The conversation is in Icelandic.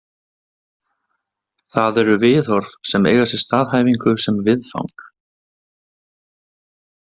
Það eru viðhorf sem eiga sér staðhæfingu sem viðfang.